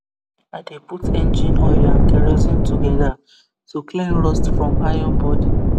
i dey put engine oil and kerosine together to clean rust from iron body